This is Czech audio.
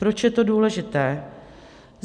Proč je to důležité?